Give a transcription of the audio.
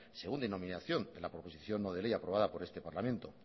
según denominación de la proposición no de ley aprobada por este parlamento